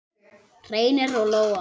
Reynir og Lóa.